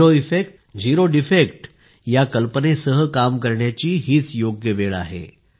zero effect zero defect या कल्पनेसह काम करण्याची ही योग्य वेळ आहे